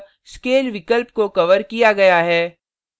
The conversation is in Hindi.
अतः scale विकल्प को कवर किया गया है